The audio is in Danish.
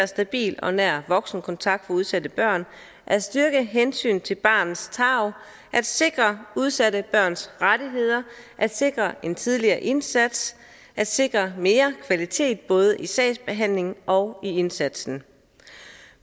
stabil og nær voksenkontakt for udsatte børn at styrke hensynet til barnets tarv at sikre udsatte børns rettigheder at sikre en tidligere indsats at sikre mere kvalitet både i sagsbehandlingen og i indsatsen